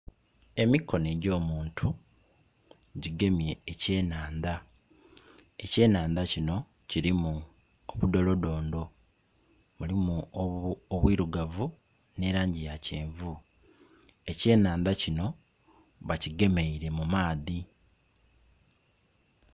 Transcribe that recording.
Emikono egy'omuntu gigemye ekyenandha ekyenandha kino kiliku obudholodhondo mulimu obwirugavu nhe langi ya kyenvu, ekyenandha kino bakigemeire mu maadhi.